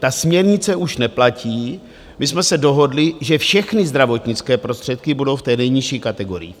Ta směrnice už neplatí, my jsme se dohodli, že všechny zdravotnické prostředky budou v té nejnižší kategorii.